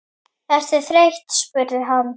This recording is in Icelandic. Ertu þreytt? spurði hann.